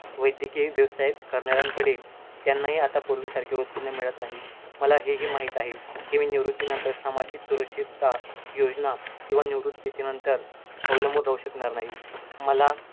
वैद्यकीय व्यवसाय करणाऱ्यांकडे त्यांनाही आता पूर्वीसारखे उत्पन्न मिळतं नाही, मला हे ही माहित आहे, की मी निवृत्ती नंतर सामाजिक सुरक्षितता योजना किंवा निवृत्ती नंतर अवलंबून राहू शकणार नाही. मला